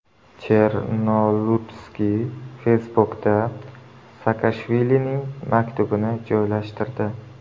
Chernolutskiy Facebook’da Saakashvilining maktubini joylashtirdi.